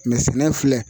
Mɛ sɛnɛ filɛ